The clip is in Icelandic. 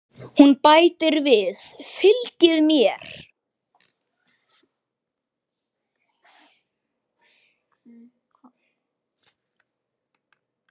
Hún bætir við: Fylgið mér